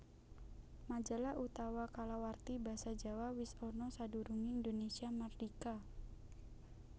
Majalah utawa kalawarti Basa Jawa wis ana sadurungé Indonesia mardhika